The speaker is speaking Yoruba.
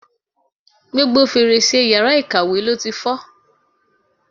Gbogbo fèrèsé yàrá ìkàwé ló ti fọ́.